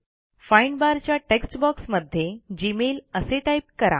find बारच्या text बॉक्समध्ये gmailअसे टाईप करा